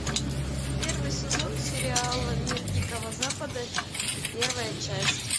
первый сезон сериала мир дикого запада первая часть